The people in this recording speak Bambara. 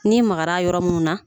N'i magara a yɔrɔ minnu na